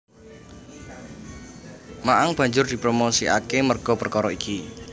Ma Ang banjur dipromosikake merga perkara iki